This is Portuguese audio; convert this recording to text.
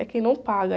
É quem não paga.